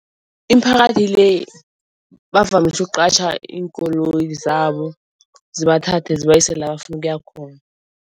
Imiphakathi le bavamise ukuqatjha iinkoloyi zabo zibathathe zibayise la bafuna ukuya khona.